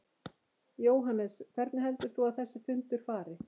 Jóhannes: Hvernig heldur þú að þessi fundur fari?